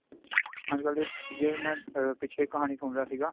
ਅੱਜਕਲ ਦੇ ਅਮ ਜਿਵੇਂ ਮੈਂ ਪਿੱਛੇ ਖਾਣੀ ਸੁਣ ਰਿਹਾ ਸੀਗਾ